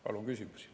Palun küsimusi.